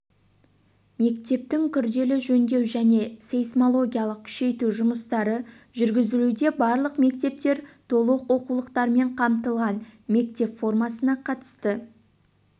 мектептің күрделі жөндеу және сейсмологиялық күшейту жұмыстары жүргізілуде барлық мектептер толық оқулықтармен қамтылған мектеп формасына қатысты